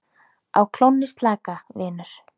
Á klónni slaka, vinur